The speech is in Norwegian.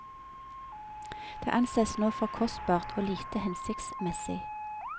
Det ansees nå for kostbart og lite hensiktsmessig.